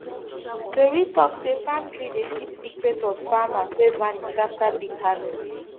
tori talk say palm tree dey keep secret of farmers wey vanish after big harvest